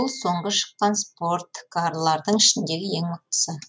бұл соңғы шыққан спорткарлардың ішіндегі ең мықтысы